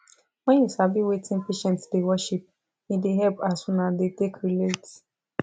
wen u sabi wetin patient da worship e da hep as una da take relate